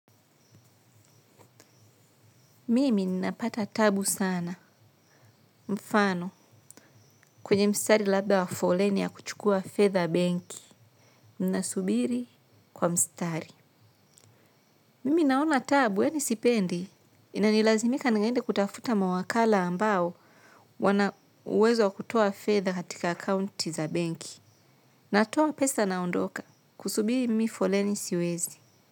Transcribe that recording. Mimi ninapata taabu sana, mfano, kwenye mstari labda wa foleni ya kuchukua fedha benki, ninasubiri kwa mstari. Mimi naon taabu, yaani sipendi. Inanilazimika niende kutafuta mawakala ambao, wana uwezo kutoa fedha katika akaunti za benki. Natoa pesa naondoka, kusubiri mimi foleni siwezi.